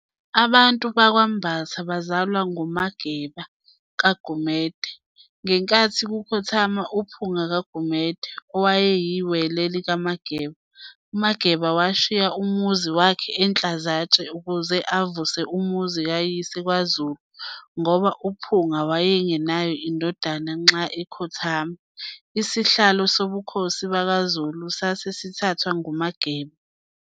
Abantu bakwaMbatha bazalwa nguMageba kaGumede. Ngenkathi kukhothama uPhunga kaGumede, owayeyiWele likaMageba, uMageba washiya umuzi wakhe eNhlazatshe ukuze avuse umuzi kayise kwaZulu ngoba uPhunga waye ngenayo indodana nxa ekhothama. Isihlalo sobukhosi bakwaZulu sase sithathwa nguMageba.